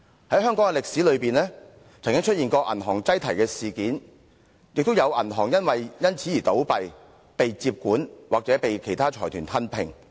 在香港的歷史中，曾經出現銀行擠提事件，亦有銀行因此而倒閉、被接管或被其他財團吞併。